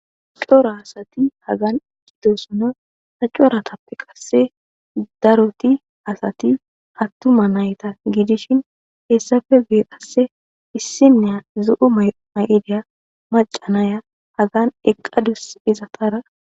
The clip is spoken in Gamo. Cora asati hagan eqqidosona haccoratappe qasse daroti asati hattuma nayta giidishin heessafe bee qasse issinneya zu'u mmay'ideya macanaya hagan eqqadus izatara